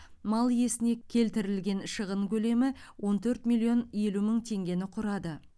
мал иесіне келтірілген шығын көлемі он төрт миллион елу мың теңгені құрады